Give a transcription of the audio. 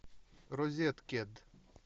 розеткед